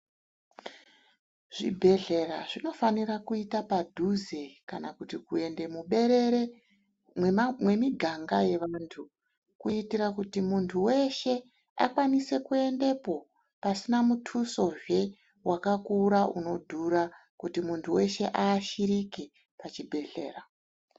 Zvibhedhlera zvinofanira kuita padhuze kana kuti kuende muberere mwemiganga yevantu kuitira kuti muntu weshe akwanise kuendepo pasina mutusozve wakakura inodhura kuti mundu weshe aashirike pachibhedhlera.